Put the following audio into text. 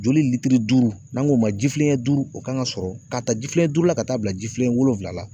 Joli litiri duuru n'an ko ma ji filen ɲɛ duuru o kan ka sɔrɔ . Ka taa ji filen ɲɛ duuru la ka taa bila ji filen ɲɛ wolonwula la.